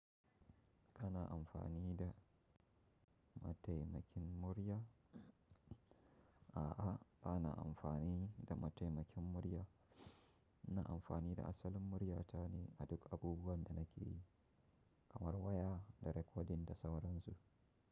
Kana amfani da mataimakin murya? A'a, bana amfani da mataimakin murya. Ina amfani da asalin murya ta ne a duk abubuwan da nake yi, kamar waya da rekodin da sauransu.